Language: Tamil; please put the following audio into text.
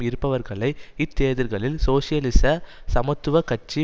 இருப்பவர்களை இத்தேர்தல்களில் சோசியலிச சமத்துவ கட்சி